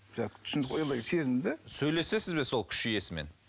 сезім де сөйлесесіз бе сол күш иесімен